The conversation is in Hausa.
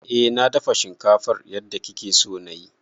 Eh na dafa shinkafan yadda kike so na yi.